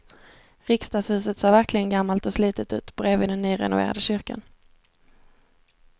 Riksdagshuset ser verkligen gammalt och slitet ut bredvid den nyrenoverade kyrkan.